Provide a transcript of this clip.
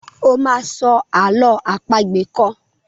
o má sọ àlọ́ àpagbè kán!